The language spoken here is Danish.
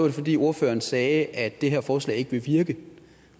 det fordi ordføreren sagde at det her forslag ikke ville virke